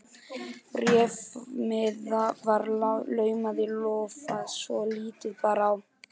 Bréfmiða var laumað í lófa svo lítið bar á.